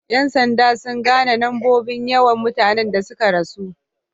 Yan sanda sun gane nombobin yawan mutane da sun ka rasu.